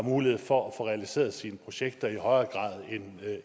mulighed for at få realiseret sine projekter i højere grad end